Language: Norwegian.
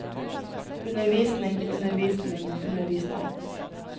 undervisning undervisning undervisning